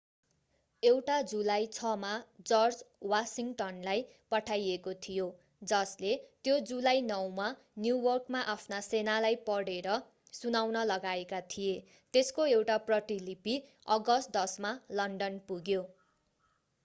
एउटा जुलाई 6 मा जर्ज वाशिङटनलाई पठाइएको थियो जसले त्यो जुलाई 9 मा न्युयोर्कमा आफ्ना सेनालाई पढेर सुनाउन लगाएका थिए त्यसको एउटा प्रतिलिपि अगस्त 10 मा लन्डन पुग्यो